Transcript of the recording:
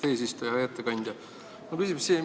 Hea ettekandja!